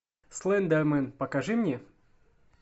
слендермен покажи мне